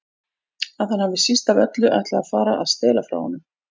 Að hann hafi síst af öllu ætlað að fara að stela frá honum.